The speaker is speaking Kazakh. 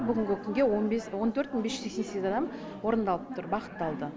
бүгінгі күнге он бес он төрт мың бес жүз сексен сегіз адам орындалып тұр бағытталды